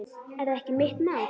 Er það ekki mitt mál?